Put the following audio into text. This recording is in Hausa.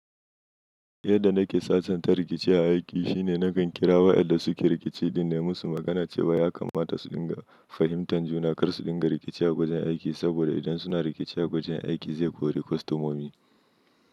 Yadda nake sasanta rikici a aiki shine nakan kira waɗanda suke rikici in nayi musu magana cewa ya kamata su dinga fahimtar juna kar su dinga rikici a gwajin aiki saboda idan suna rikici a gwajin aiki zai kori kwastomomi.